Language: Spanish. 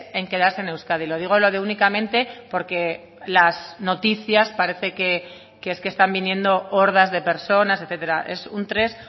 en quedarse en euskadi lo digo lo de únicamente porque las noticias parece que es que están viniendo hordas de personas etcétera es un tres